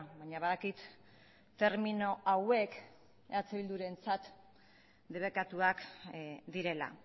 baina badakit termino hauek eh bildurentzat debekatuak direla